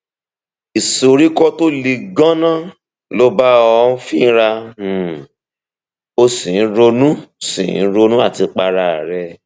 ìsoríkọ tó le ganan ló ń bá ọ fínra um o sì ń ronú sì ń ronú àtipa ara rẹ